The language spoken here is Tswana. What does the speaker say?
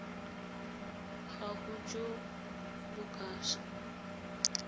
gago jo bo ka se